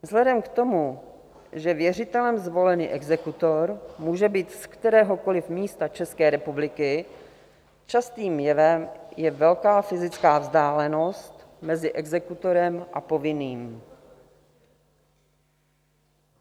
Vzhledem k tomu, že věřitelem zvolený exekutor může být z kteréhokoliv místa České republiky, častým jevem je velká fyzická vzdálenost mezi exekutorem a povinným.